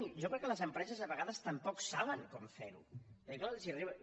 i jo crec que les empreses a vegades tampoc saben com fer ho perquè clar els hi arriben